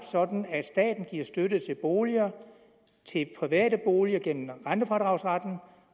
sådan at staten giver støtte til boliger til private boliger gennem rentefradragsretten